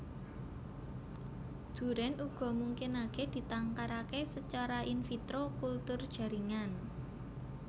Durèn uga mungkinaké ditangkaraké sacara in vitro kultur jaringan